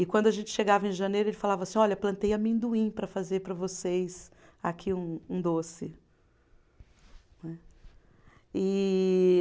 E quando a gente chegava em janeiro, ele falava assim, olha, plantei amendoim para fazer para vocês aqui um um doce, não é. E